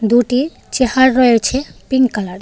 দুটি চেহার রয়েছে পিংক কালারের .